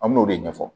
An me n'o de ɲɛfɔ